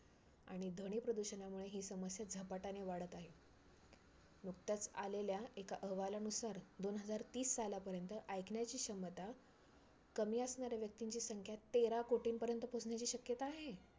आणि ध्वनी प्रदूषणामुळे ही समस्या झपाट्याने वाढत आहे. नुकत्याच आलेल्या एका अहवालानुसार दोन हजार तीस सालापर्यंत ऐकण्याची क्षमता कमी असणाऱ्या व्यक्तींची संख्या तेरा कोटींपर्यंत पोचण्याची शक्यता आहे.